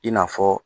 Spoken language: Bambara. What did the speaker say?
I n'a fɔ